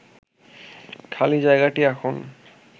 খালি জায়গাটি এখন